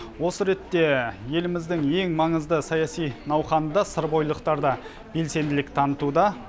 осы ретте еліміздің ең маңызды саяси науқанында сырбойылықтар да белсенділік танытуда